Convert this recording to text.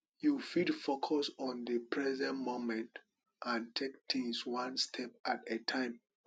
you fit focus on di present moment and take tings one step at a time